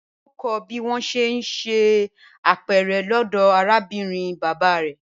Bímpé yóò kọ́ bí wọ́n ṣe ń hun apẹ̀rẹ̀ lọ́dọ̀ arábìnrin bàbá rẹ̀